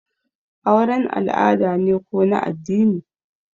auren al'ada ne ko na addini?